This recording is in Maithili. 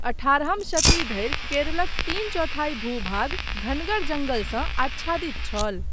अठारहम शती धरि केरलक तीन चौथाई भू भाग घनगर जंगलसँ आच्छादित छल।